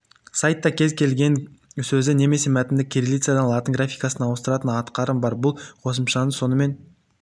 сайтта кез келген сөзді немесе мәтінді кирилицадан латын графикасына ауыстыратын атқарым бар бұл қосымшаны сонымен